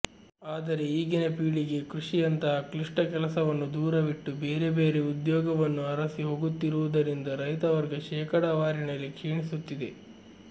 ಆದರೆ ಈಗಿನ ಪೀಳಿಗೆ ಕೃಷಿಯಂತಹ ಕ್ಲಿಷ್ಟ ಕೆಲಸವನ್ನು ದೂರವಿಟ್ಟು ಬೇರೆ ಬೇರೆ ಉದ್ಯೋಗವನ್ನು ಅರಸಿ ಹೋಗುತ್ತಿರುವುದರಿಂದ ರೈತವರ್ಗ ಶೇಕಡವಾರಿನಲ್ಲಿ ಕ್ಷೀಣಿಸುತಿದೆ